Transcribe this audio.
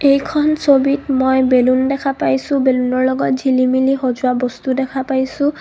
এইখন ছবিত মই বেলুন দেখা পাইছোঁ বেলুন ৰ লগত ঝিলিমিলি সজোৱা বস্তু দেখা পাইছোঁ.